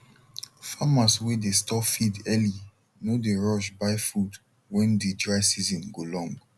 farmers wey dey store feed early no dey rush buy food when de dry season go long